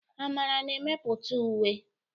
Amara na-emepụta uwe.